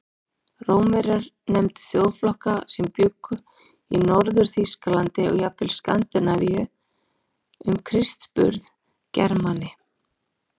Rómverjar nefndu þjóðflokka sem bjuggu í Norður-Þýskalandi og jafnvel Skandinavíu um Krists burð Germani.